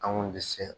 An kun tɛ se